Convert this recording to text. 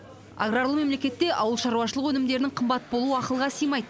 аграрлы мемлекетте ауылшаруашылық өнімдерінің қымбат болуы ақылға сыймайды